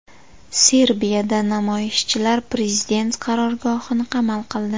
Serbiyada namoyishchilar prezident qarorgohini qamal qildi.